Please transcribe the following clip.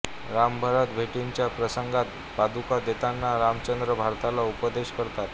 रामभरत भेटीच्या प्रसंगात पादुका देताना रामचंद्र भरताला उपदेश करतात